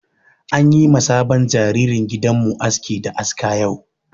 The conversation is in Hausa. An yi ma sabon jaririn gidan mu aski da aska yau.